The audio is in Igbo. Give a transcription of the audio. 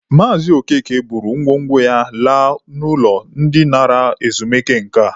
Maazị Okeke buru ngwo ngwo ya laa n'ụlọ ndị nara ezumike nka.